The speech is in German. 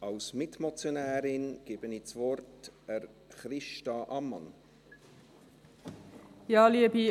Ich gebe Christa Ammann als Mitmotionärin das Wort.